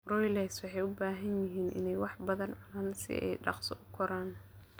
Broilers waxay u baahan yihiin inay wax badan cunaan si ay dhaqso ugu koraan.